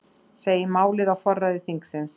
Segir málið á forræði þingsins